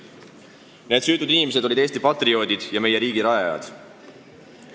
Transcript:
Need süütud inimesed olid Eesti patrioodid ja meie riigi rajajad.